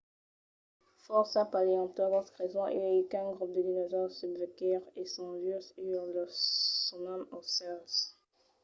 fòrça paleontològs creson uèi qu'un grop de dinosaures subrevisquèt e son vius uèi. los sonam aucèls